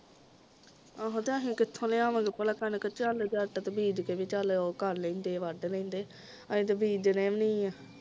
ਆਹੋ ਤੇ ਅਸੀਂ ਕਿੱਥੋਂ ਲਿਆਵਾਂਗੇ ਭਲਾ ਕਣਕ ਚਲ ਜੱਟ ਬੀਜ ਕੇ ਵੀ ਉਹ ਚਲ ਉਹ ਕਰ ਲੈਂਦੇ ਹਾਂ ਵੱਢ ਲੈਂਦੇ ਆ ਅਸੀਂ ਤੇ ਬੀਜਦੇ ਵੀ ਨਹੀਂ ਹਾਂ